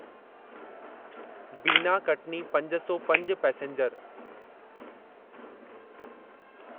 बीना कटनी पंज सौ पंज पैसेंजर